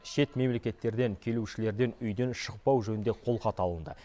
шет мемлекеттерден келушілерден үйден шықпау жөнінде қолхат алынды